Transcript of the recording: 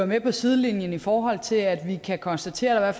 med på sidelinjen i forhold til at vi kan konstatere at